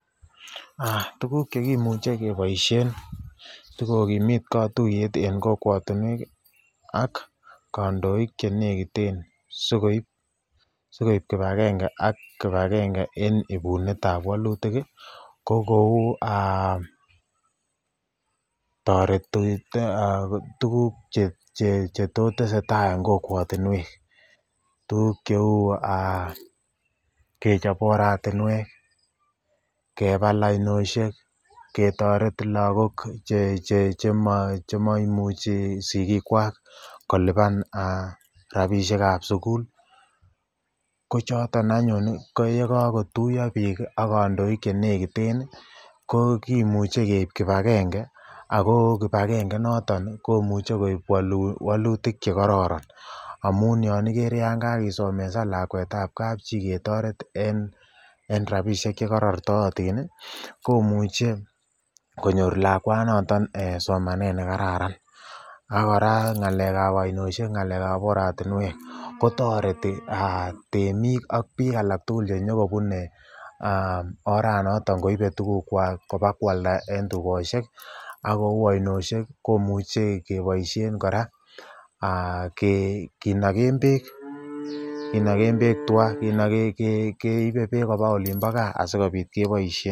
Tukuk chekimuche keboishen sikokimit kotuyet en kokwotinwek akm kondoik chenekiten sikoib kibakenge ak kibakenge en ibunetab walutik ko kouu toretet tukuk chetoteseta en kokwetinwek, tukuk cheuu kechop oratinwek, kebal ainoshek, ketoret lokok chemaimuchi sikiikwak koliban rabishekab sukul ko choton anyun ko yekokotuyo biik ak kandoik chenekiten ko kimuche keib kibakenge ak ko kibakenge noton komuche koib wolutik chekororon amun yoon kere kakisomesan lakwetab kapchii ketoret en rabishek chekorortootin komuche konyor lakwanoton eeh somanet nekararan ak kora ngalekab oinoshek ngalekab oratinwek kotereti temiik ak biik alak tukul chenyokobune oranoton koiibe tukukwak kobakwalda en tukoshek akou ainoishek komuche keboishen kora kinoken beek twaa, keibe beek kobaa olimbo kaa asikobit keboishen.